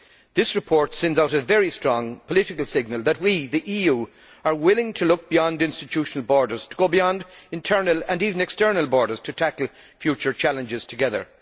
This report sends out a very strong political signal that we, the EU, are willing to look beyond institutional borders, to go beyond internal and even external borders to tackle future challenges together.